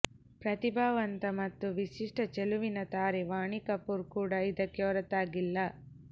ಪ್ರತಿಭಾವಂತ ಮತ್ತು ವಿಶಿಷ್ಟ ಚೆಲುವಿನ ತಾರೆ ವಾಣಿ ಕಪೂರ್ ಕೂಡ ಇದಕ್ಕೆ ಹೊರತಾಗಿಲ್ಲ